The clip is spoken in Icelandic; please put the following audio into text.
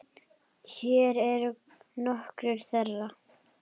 Hér eru nokkur þeirra.